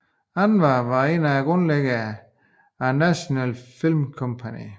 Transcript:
Anwar var en af grundlæggerne af National Film Company